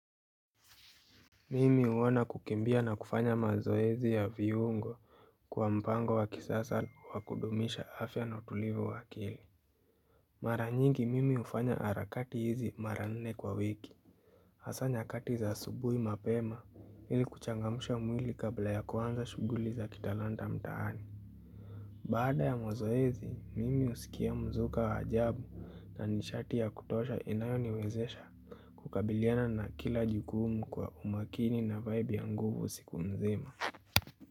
Mimi huona kukimbia na kufanya mazoezi ya viungo kwa mpango wa kisasa wa kudumisha afya na utulivu wa akili Mara nyingi mimi hufanya harakati hizi mara nne kwa wiki Hasa nyakati za asubuhi mapema ili kuchangamusha mwili kabla ya kuanza shuguli za kitalanta mtaani Baada ya mozoezi, mimi husikia mzuka waajabu na nisharti ya kutosha inayoniwezesha kukabiliana na kila jukumu kwa umakini na vibe ya nguvu siku mzima.